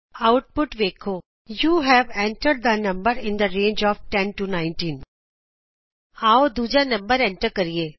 output ਇੰਝ ਆਏਗੀ you have entered the number in the range of 10 19 ਆਉ ਅਸੀਂ ਦੂਜਾ ਨੰਬਰ ਐਂਟਰ ਕਰੀਏ